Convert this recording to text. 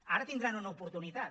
ara tindran una oportunitat